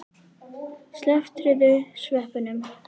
Slepptirðu sveppunum?